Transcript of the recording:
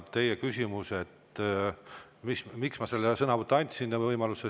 Küsisite, miks ma andsin võimaluse vastusõnavõtuks.